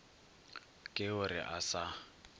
ke o re a sa